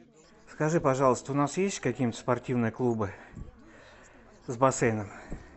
скажи пожалуйста у нас есть какие нибудь спортивные клубы с бассейном